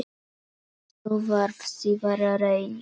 Sú varð síðar raunin.